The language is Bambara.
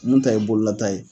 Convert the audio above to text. Mun ta ye bololata ye.